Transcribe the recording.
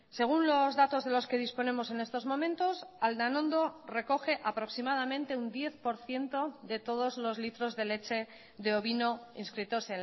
según los datos de los que disponemos en estos momentos aldanondo recoge aproximadamente un diez por ciento de todos los litros de leche de ovino inscritos